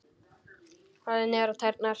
Horfði niður á tærnar.